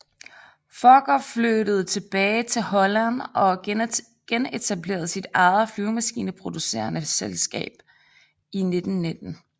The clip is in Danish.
Fokker flyttede tilbage til Holland og genetablerede sit eget flyvemaskineproducerende selskab i 1919